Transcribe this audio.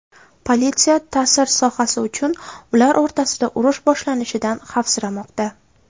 Politsiya ta’sir sohasi uchun ular o‘rtasida urush boshlanishidan xavfsiramoqda.